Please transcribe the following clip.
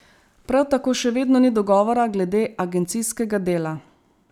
Prav tako še vedno ni dogovora glede agencijskega dela.